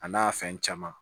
A n'a fɛn caman